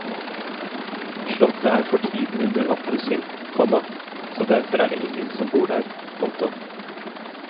Slottet er for tiden under oppussing, komma så derfor er det ingen som bor der. punktum